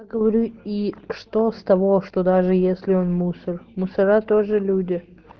говорю и что с того что даже если он мусор мусора тоже люди